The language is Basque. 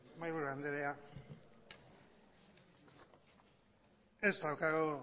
mahaiburu andrea ez daukagu